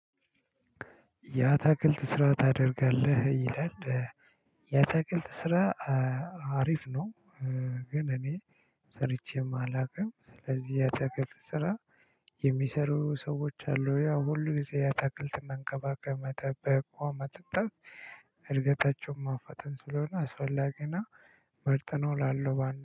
ያ ታክልት ስራ ታደርጋለህ ይላል። ያ አታክልት ስራ አሪፍ ነው። ግን እኔ ሰርቼም አላቅም ስለዚህ የአታክልት ስራ። የሚሰሩ ሰዎች አሉ ያው ሁሉ ጊዜ አታክልት መንከባከብ መጠበቅ ውሃ ማጠጣት እድገታቸውን ማፋጠን ስለሆነ አስፈላጊና መርጠነው ላለው ባንድ